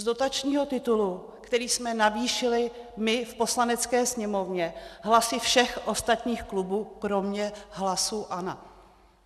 Z dotačního titulu, který jsme navýšili my v Poslanecké sněmovně hlasy všech ostatních klubů kromě hlasů ANO.